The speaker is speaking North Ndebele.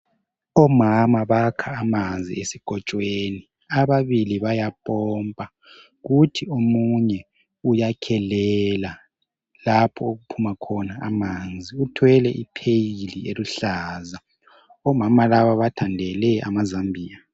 Omama bakha amanzi esikotshweni, ababili bayapompa kuthi omunye uyakhelela lapho okuphuma khona amanzi ,uthwele i pheyili eluhlaza. omama laba bathandele amazambia.